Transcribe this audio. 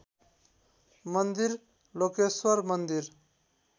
मन्दिर लोकेश्वर मन्दिर